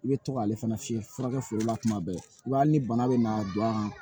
I bɛ to k'ale fana fiyɛ furakɛ foro la kuma bɛɛ i b'a ni bana bɛ n'a don an fɛ